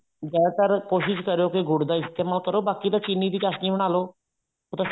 ਜਿਆਦਾ ਤਰ ਕੋਸ਼ਿਸ਼ ਕਰੋ ਕੇ ਗੁੜ ਦਾ ਇਸਤੇਮਾਲ ਕਰੋ ਬਾਕੀ ਤਾਂ ਚਿੰਨੀ ਦੀ ਚਾਸ਼ਨੀ ਬਣਾ ਲੋ ਉਹ ਤਾਂ